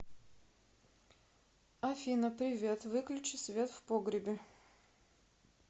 афина привет выключи свет в погребе